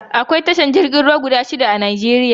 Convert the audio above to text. Akwai tashar jirgin ruwa guda shida a Najeriya